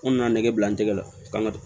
N nana nɛgɛ bila n tɛgɛ la ka n ka